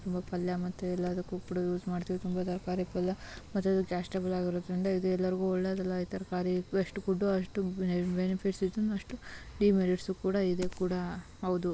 ತುಂಬ ಪಲ್ಯ ಮತ್ತೆ ಎಲ್ಲದಕ್ಕೂ ಕೂಡ ಯೂಸ್ ಮಾಡ್ತೀವಿ ತುಂಬ ತರಕಾರಿ ಪಲ್ಯ ಮತ್ತೆ ಇದು ಗ್ಯಾಸ್ ಟ್ರಬಲ್ ಆಗಿರುವುದರಿಂದ ಇದು ಎಲ್ಲರಿಗೂ ಒಳ್ಳೆಯದಲ್ಲ ಇದೆಲ್ಲಾಈ ತರಕಾರಿ ಬೆಸ್ಟ್ ಫುಡ್ ಎಷ್ಟು ಬೆನಿಫಿಟ್ ಇದನ್ನು ಅಷ್ಟು ಡಿ ಮೆರಿಟ್ಸ್ ಕೂಡ ಇದೆ ಕೂಡ ಹೌದು.